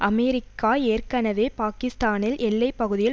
America ஏற்கனவே பாக்கிஸ்தானில் எல்லை பகுதியில்